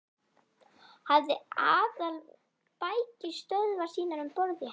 Hafði aðalbækistöðvar sínar um borð í henni.